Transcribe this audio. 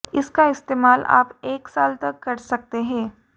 इसका इस्तेमाल आप एक साल तक कर सकते हैं